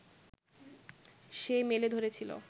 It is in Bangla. সে মেলে ধরেছিল